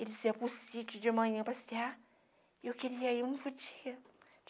Ele iam para o sítio de manhã passear, e eu queria ir, mas não podia.